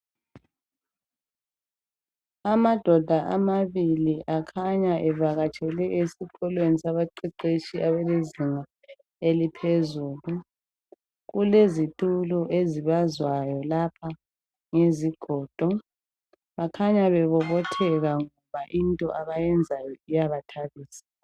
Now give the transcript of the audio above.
Amadoda amabili akhanya evakatshele esikolweni sabaqeqetshi ezingeni laphezulu kulezitulo lapha ezibazwa ngezigodo bakhanya bemomothela ngoba into abayiyenzayo iyabacaza